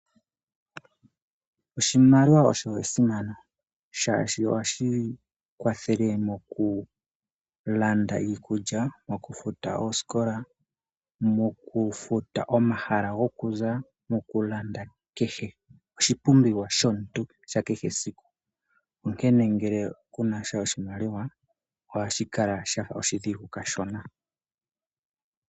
Oshimaliwa osho esimano shaashi ohashi kwathele mokulanda iikulya, mokufuta oosikola, mokufuta omahala gokuza, mokulanda kehe oshipumbiwa shomuntu sha kehe esiku, onkene ngele kunasha oshimaliwa, ohashi kala shafa oshidhigu kashona.